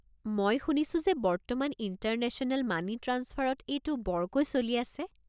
মই শুনিছোঁ যে বৰ্তমান ইণ্টাৰনেশ্যনেল মানি ট্ৰাঞ্চফাৰত এইটো বৰকৈ চলি আছে।